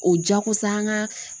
O jakosa an ka